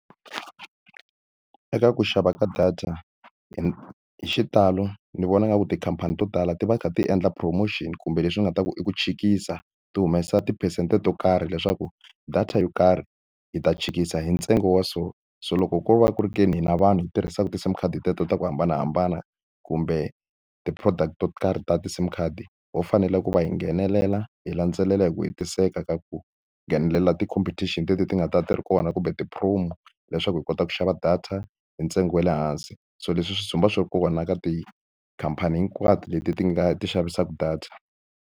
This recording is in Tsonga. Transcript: Eka ku xava ka data hi xitalo ni vona nga ku tikhampani to tala ti va ti kha ti endla promotion kumbe leswi nga ta ku i ku tshikisa, ti humesa tiphesente to karhi leswaku data yo karhi hi ta tshikisa hi ntsengo wa so. So loko ko va ku ri ke ni hina vanhu hi tirhisaka ti-SIM card hi teto ta ku hambanahambana kumbe ti-product to karhi ta ti-SIM card, ho fanele ku va hi nghenelela, hi landzelela hi ku hetiseka ka ku nghenelela ti-competition leti ti nga ta ve ti ri kona. Kumbe ti-promo leswaku hi kota ku xava data hi ntsengo wa le hansi. So leswi swi ndzumba swi ri kona ka tikhampani hinkwato leti ti nga ti xavisaka data.